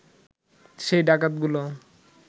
সেই ডাকাতগুলো